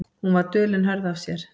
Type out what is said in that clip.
Hún var dul en hörð af sér.